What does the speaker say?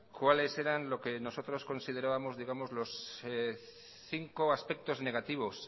cuáles eran lo que nosotros consideramos digamos los cinco aspectos negativos